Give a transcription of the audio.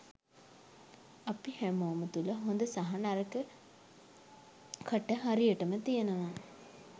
අපි හැමෝම තුළ හොඳ සහ නරක කට හරියටම තියෙනවා.